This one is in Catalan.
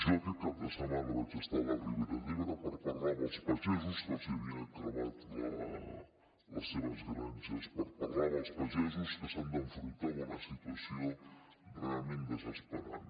jo aquest cap de setmana vaig ser a la ribera d’ebre per parlar amb els pagesos que se’ls havien cremat les seves granges per parlar amb els pagesos que s’han d’enfrontar amb una situació realment desesperant